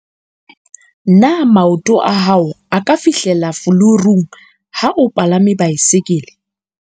na maoto a hao a ka fihlella fulurung ha o palame baesekele?